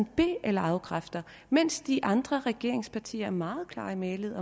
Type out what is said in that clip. be eller afkræfter mens de andre regeringspartier er meget klare i mælet